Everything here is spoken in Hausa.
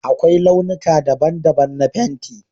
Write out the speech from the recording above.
Akwai launuka daban-daban na fenti